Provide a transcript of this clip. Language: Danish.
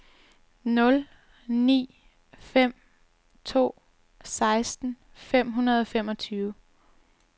nul ni fem to seksten fem hundrede og femogtyve